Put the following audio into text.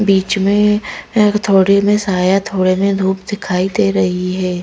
बीच में एक थोड़ी में साया थोड़े में धूप दिखाई दे रही है।